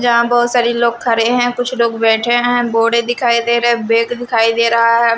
जहां बहुत सारे लोग खड़े हैं कुछ लोग बैठे हैं बोड़े दिखाई दे रहे बेग दिखाई दे रहा है।